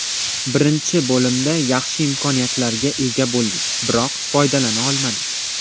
Birinchi bo‘limda yaxshi imkoniyatlarga ega bo‘ldik, biroq foydalana olmadik.